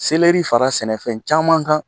Seleri fara sɛnɛfɛn caman kan